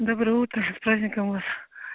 доброе утро с праздником вас